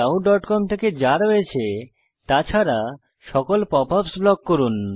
wwwyahoocom থেকে যা রয়েছে তা ছাড়া সকল পপআপস ব্লক করুন